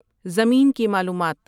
زمین کی معلومات